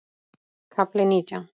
KAFLI NÍTJÁN